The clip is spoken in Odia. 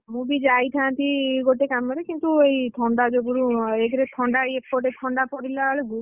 ମୁଁ ବି ଯାଇଥାନ୍ତି, ଗୋଟେ କାମରେ, କିନ୍ତୁ ଏଇ, ଥଣ୍ଡା ଯୋଗୁରୁ, ଏକ ରେ ଥଣ୍ଡା ଏପଟେ ଥଣ୍ଡା ପଡିଲା ବେଳକୁ